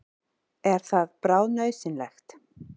Er það bráðnauðsynlegt?